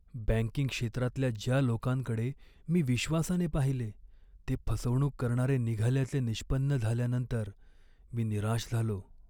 Banking क्षेत्रातल्या ज्या लोकांकडे मी विश्वासाने पाहिले ते फसवणूक करणारे निघाल्याचे निष्पन्न झाल्यानंतर मी निराश झालो.